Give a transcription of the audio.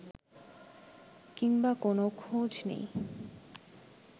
কিংবা কোনো খোঁজ নেই